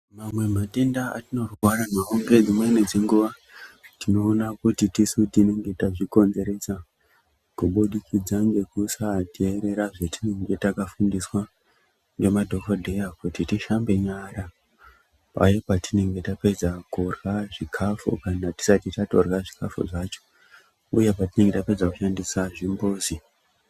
Mamwe matenda atinorwara nawo ngedzimweni dzenguwa, tinoona kuti tisu tinenge tazvikonzeresa kubudikidza ngekusaterera zvetinenge takafundiswa ngemadhokodheya kuti tishambe nyara, paya patinenge tapedza kurya zvikafu kana tisati tatorya zvikafu zvacho, uye patinenge tapedza kushandisa zvimbuzi.